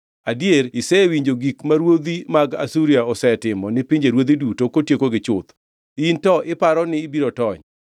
Adier isewinjo gik ma ruodhi mag Asuria osetimo ni pinjeruodhi duto kotiekogi chuth. In to iparo ni ibiro tony?